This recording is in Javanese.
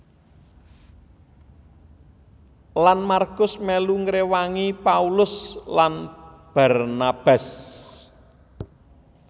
Lan MarkuS melu ngrewangi Paulus lan Barnabas